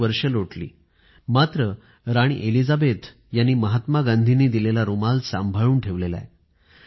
किती वर्ष लोटली मात्र राणी एलिझाबेथ यांनी महात्मा गांधी यांनी दिलेला रुमाल सांभाळून ठेवला आहे